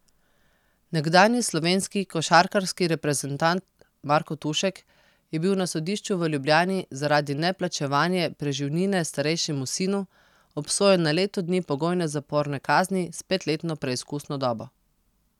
Nekdanji slovenski košarkarski reprezentant Marko Tušek je bil na sodišču v Ljubljani zaradi neplačevanje preživnine starejšemu sinu obsojen na leto dni pogojne zaporne kazni s petletno preizkusno dobo.